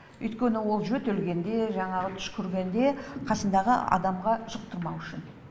өйткені ол жөтелгенде жаңағы түшкіргенде қасындағы адамға жұқтырмау үшін